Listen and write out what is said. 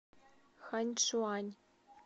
ханьчуань